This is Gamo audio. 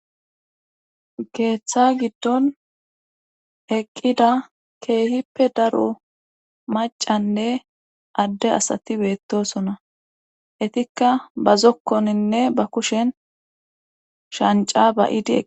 geeththa giddon eqqida keehippe daro macanne adde asati beettosona etikka ba zokkoninne ba kushen shanca bayidie